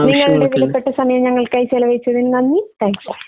നിങ്ങളുടെ വിലപ്പെട്ട സമയം ഞങ്ങൾക്കായി ചിലവഴിച്ചതിന് നന്ദി. Thank U.